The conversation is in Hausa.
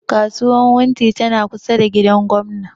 Kasuwan wunti na kusa da gidan gwamna